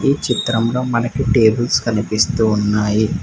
ఈ చిత్రంలో మనకి టేబుల్స్ కనిపిస్తూ ఉన్నాయి.